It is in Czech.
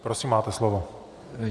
Prosím, máte slovo.